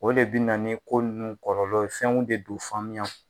O le bɛ na ni ko ninnu kɔlɔlɔ ye fɛnw de do faamuya